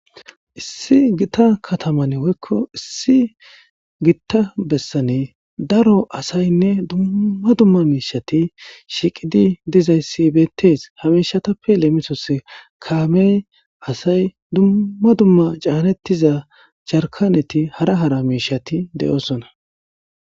issi gita kataman woykko issi gitta bessane daro asaynne dumma dumma miishati shiiqidi dizayssi bettees hamishatappe leemisos kaamey asay dumma dumma caanettiza jaharkaneti hara hara miishati de7oosona